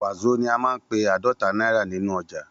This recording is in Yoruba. Wàzó ní a man pe adota náírà nínú ọjà